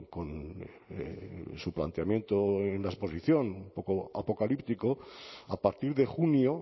con su planteamiento en la exposición un poco apocalíptico a partir de junio